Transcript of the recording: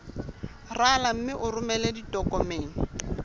rala mme o romele ditokomene